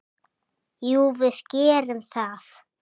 Jú, við gerum það.